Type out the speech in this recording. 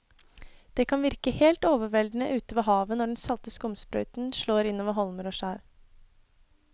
Det kan virke helt overveldende ute ved havet når den salte skumsprøyten slår innover holmer og skjær.